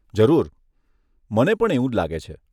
જરૂર, મને પણ એવું જ લાગે છે.